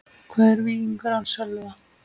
Hvað er Víkingur án Sölva?